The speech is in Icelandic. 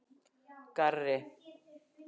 Garri